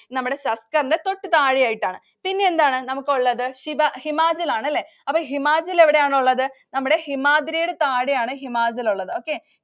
നമ്മുടെ സസ്കറിനു തൊട്ട് താഴെയായിട്ടാണ്. പിന്നെ എന്താണ് നമുക്കുള്ളത്. ഹിമാ~ ഹിമാചല്‍ ആണ്, അപ്പൊ ഹിമാചല്‍ എവിടെയാണുള്ളത്? നമ്മുടെ ഹിമാദ്രിയുടെ താഴെയാണ് ഹിമാചല്‍ ഒള്ളത്. Okay